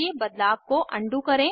इस उर्ल पर उपलब्ध वीडियो देखें